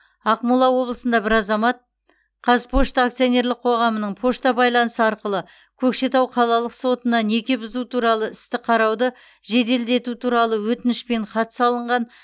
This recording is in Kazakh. ақмола облысында бір азамат қазпошта акционерлік қоғамының пошта байланысы арқылы көкшетау қалалық сотына неке бұзу туралы істі қарауды жеделдету туралы өтінішпен хат салынған